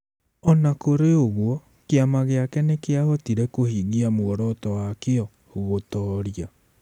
O na kũrĩ ũguo, kĩama gĩake nĩ kĩahotire kũhingia muoroto wakĩo - gũtoria.